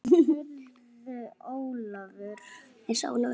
Heyrðu Ólafur.